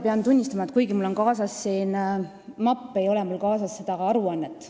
Pean tunnistama, et kuigi mul on siin kaasas mapp, ei ole mul kaasas seda aruannet.